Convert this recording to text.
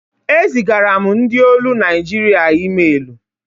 E zigara m ndị olu Naịjirịa ịmelu.